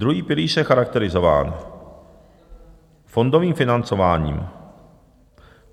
Druhý pilíř je charakterizován fondovým financováním.